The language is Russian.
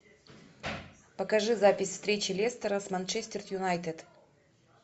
покажи запись встречи лестера с манчестер юнайтед